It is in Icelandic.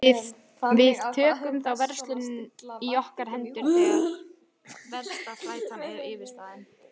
Við tökum þá verslun í okkar hendur þegar versta þrætan er yfirstaðin.